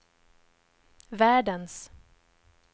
världens